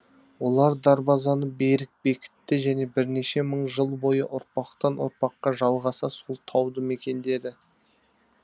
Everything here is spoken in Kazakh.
олар дарбазаны берік бекітті және бірнеше мың жыл бойы ұрпақтан ұрпаққа жалғаса сол тауды мекендеді